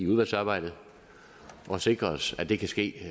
udvalgsarbejdet og sikre os at det kan ske